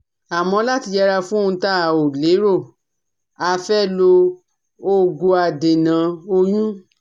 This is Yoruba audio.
Àmọ́ láti yẹra fún ohun tá ò lérò, a fẹ́ lo òògùadènà oyún